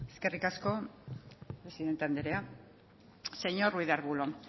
eskerrik asko presidente andrea señor ruiz de arbulo